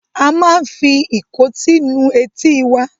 A máa ń fi ìkótí nu etí wa.